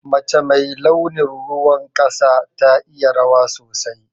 Mace mai launin ruwan ƙasa ta iya rawa sosai.